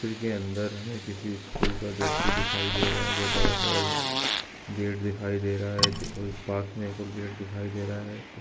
के अन्दर हमें किसी स्कूल का द्रश्य दिखाई दे रहा है बड़ा स गेट दिखाई दे रहा है कोई पास में एक और गेट दिखाई रहा है।